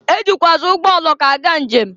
E jikwuazị ụgbọoloko aga nje m.